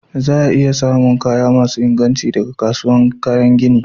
Za'a iya samu kaya masun inganci daga kasuwan kayan gini.